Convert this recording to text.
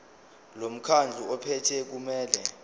lomkhandlu ophethe kumele